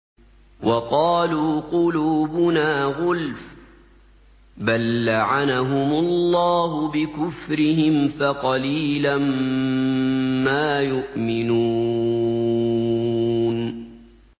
وَقَالُوا قُلُوبُنَا غُلْفٌ ۚ بَل لَّعَنَهُمُ اللَّهُ بِكُفْرِهِمْ فَقَلِيلًا مَّا يُؤْمِنُونَ